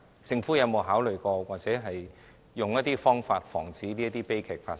政府有沒有考慮，又或設法防止這些悲劇發生？